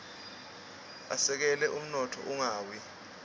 asekela umnotfo ungawia